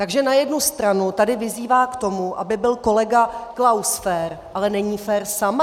Takže na jednu stranu tady vyzývá k tomu, aby byl kolega Klaus fér, ale není fér sama?